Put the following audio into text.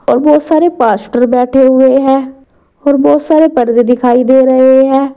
और बहुत सारे पास्टर बैठे हुए हैं और बहुत सारे पर्दे दिखाई दे रहे हैं।